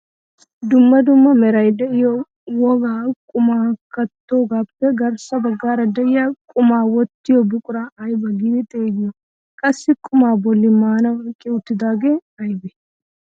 Dumma dumma meray de'iyoo wogaa qumaa kattogaappe garssa baggaara de'iyaa qumaa wottiyoo buquraa ayba giidi xeegiyoo? qassi qumaa bolli maanawu eqqi uttagee aybee?